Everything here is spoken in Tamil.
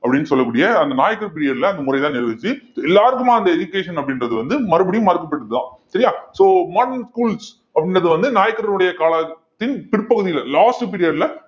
அப்படின்னு சொல்லக்கூடிய அந்த நாயக்கர் period ல அந்த முறைதான் நிலவுவச்சி எல்லாருக்குமா அந்த education அப்படின்றது வந்து மறுபடியும் மறுக்கப்பட்டது தான் சரியா so modern schools அப்படின்றது வந்து நாயக்கருடைய காலத்தின் பின் பிற்பகுதியில last period ல